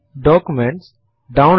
ഇവിടെ ഇത് ഫൈലിൻഫോ ആണ്